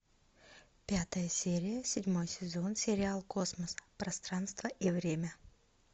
пятая серия седьмой сезон сериал космос пространство и время